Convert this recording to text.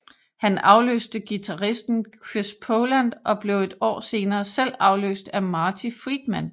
Han afløste guitaristen Chris Poland og blev et år senere selv afløst af Marty Friedman